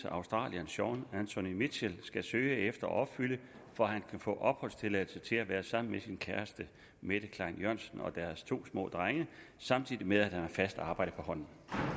australieren shaun anthony mitchell skal søge efter og opfylde for at han kan få opholdstilladelse til at være sammen med sin kæreste mette klein jørgensen og deres to små drenge samtidig med at han har fast arbejde på hånden